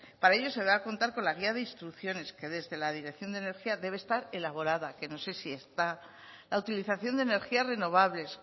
para ello se va a contar con la guía de instrucciones que desde la dirección de energía debe estar elaborada que no sé si está la utilización de energías renovables